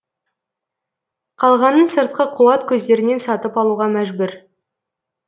қалғанын сыртқы қуат көздерінен сатып алуға мәжбүр